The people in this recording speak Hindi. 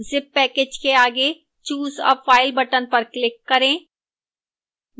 zip package के आगे choose a file button पर click करें